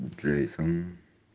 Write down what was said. джейсон